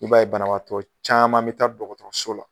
I b'a ye banabaatɔ caaman bɛ taa dɔgɔtɔrɔso la